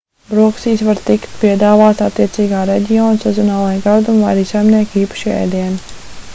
brokastīs var tikt piedāvāti attiecīgā reģiona sezonālie gardumi vai arī saimnieka īpašie ēdieni